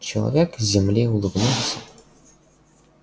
человек с земли улыбнулся